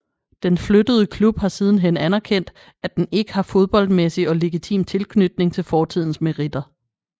Den flyttede klub har sidenhen anerkendt at den ikke har fodboldmæssig og legitim tilknytning til fortidens meritter